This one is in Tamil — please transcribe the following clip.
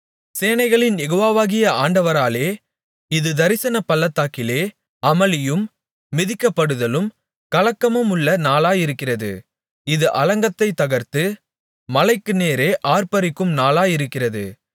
சேனைகளின் யெகோவாவாகிய ஆண்டவராலே இது தரிசனப் பள்ளத்தாக்கிலே அமளியும் மிதிக்கப்படுதலும் கலக்கமுமுள்ள நாளாயிருக்கிறது இது அலங்கத்தைத் தகர்த்து மலைக்கு நேரே ஆர்ப்பரிக்கும் நாளாயிருக்கிறது